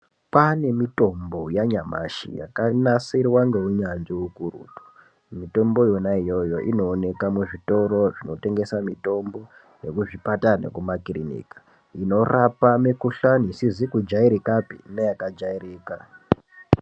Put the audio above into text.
Kwaane mitombo yanyamashi yakanasirwa ngeunyanzvi ukurutu. Mitombo yona iyoyo inooneka muzvitoro zvinotengesa mitombo yekuzvipatara nekumakirinika, inorapa mikhuhlani isizi kujairikapi neyakajairika.